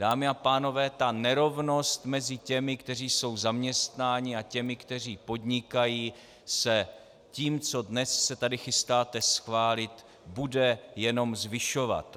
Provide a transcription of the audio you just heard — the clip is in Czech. Dámy a pánové, ta nerovnost mezi těmi, kteří jsou zaměstnáni, a těmi, kteří podnikají, se tím, co dnes se tady chystáte schválit, bude jenom zvyšovat.